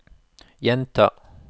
gjenta